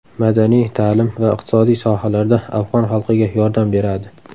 Madaniy, ta’lim va iqtisodiy sohalarda afg‘on xalqiga yordam beradi.